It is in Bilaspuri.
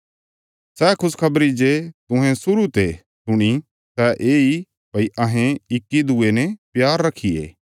सै खुशखबरी जे तुहें शुरु ते सुणी सै येई भई अहें इकदूये ने प्यार रखिये